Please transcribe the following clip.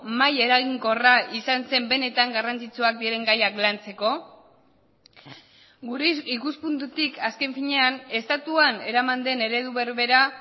mahai eraginkorra izan zen benetan garrantzitsuak diren gaiak lantzeko gure ikuspuntutik azken finean estatuan eraman den eredu berbera